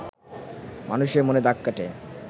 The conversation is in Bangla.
মানুষের মনে দাগ কাটে